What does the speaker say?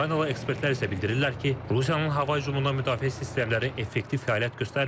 Ukraynalı ekspertlər isə bildirirlər ki, Rusiyanın hava hücumundan müdafiə sistemləri effektiv fəaliyyət göstərmir.